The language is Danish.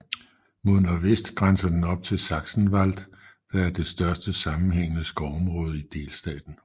Mod nordvest grænser den op til Sachsenwald der er det største sammenhængende skovområde i delstaten